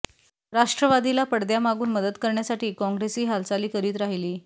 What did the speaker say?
राष्ट्रवादीला पडद्यामागून मदत करण्यासाठी काँग्रेसही हालचाली करीत राहिली